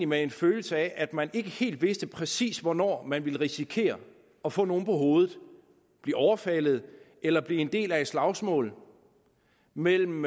med en følelse af at man ikke helt vidste præcis hvornår man kunne risikere at få nogen på hovedet at blive overfaldet eller blive en del af et slagsmål mellem